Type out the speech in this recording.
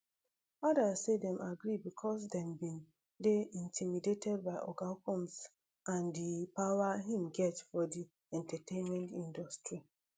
odas say dem agree becos dem bin dey intimidated by oga combs and di power im get for di entertainment industry